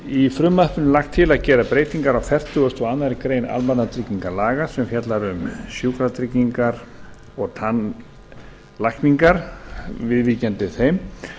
í frumvarpinu er lagt til að gera breytingar á fertugasta og aðra grein almannatryggingalaga sem fjallar um sjúkratryggingar og tannlækningar viðvíkjandi þeim